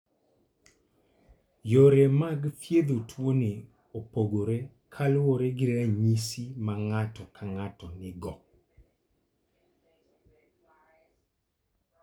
Yore mag thiedho tuoni opogore kaluwore gi ranyisi ma ng'ato ka ng'ato nigo.